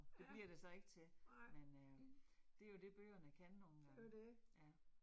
Det bliver det så ikke til, men øh det jo det bøgerne kan nogle gange. Ja